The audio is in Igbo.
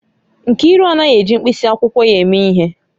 Nkiru anaghị eji mkpịsị akwụkwọ ya eme ihe